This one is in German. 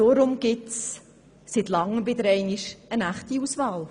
Deshalb gibt es seit Langem wieder einmal eine echte Auswahl.